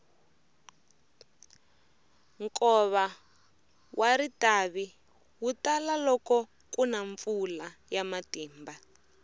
nkova wa ritavi wu tala loko kuna mpfula ya matimba